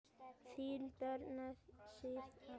Þín, Birna Sif.